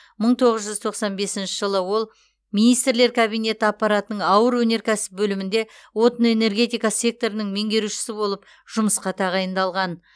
мың тоғыз жүз тоқсан бесінші жылы ол министрлер кабинеті аппаратының ауыр өнеркәсіп бөлімінде отын энергетика секторының меңгерушісі болып жұмысқа тағайындалған